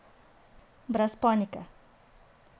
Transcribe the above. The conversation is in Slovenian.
Brez panike!